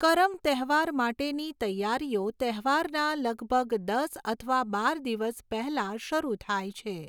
કરમ તહેવાર માટેની તૈયારીઓ તહેવારના લગભગ દસ અથવા બાર દિવસ પહેલાં શરૂ થાય છે.